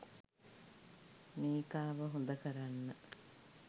මේකාව හොදකරන්න